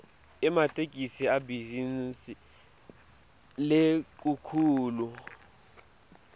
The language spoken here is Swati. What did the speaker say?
ematekisi ibhizinisi lenkhulu